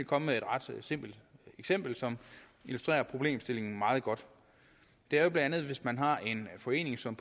komme med et ret simpelt eksempel som illustrerer problemstillingen meget godt det er bla hvis man har en forening som